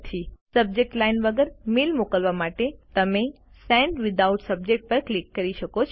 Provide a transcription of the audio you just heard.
subject line વગર mail મોકલવા માટે તમે સેન્ડ વિથઆઉટ સબ્જેક્ટ પર ક્લિક કરી શકો છો